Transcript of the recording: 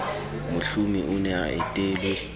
mohlomi o ne a etelwe